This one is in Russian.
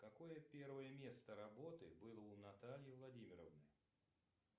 какое первое место работы было у натальи владимировны